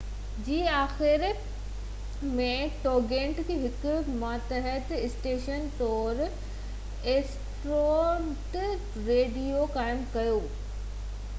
2015 جي آخر ۾ ٽوگيٽنيٽ هڪ ماتحت اسٽيشن طور ايسٽرونيٽ ريڊيو قائم ڪيو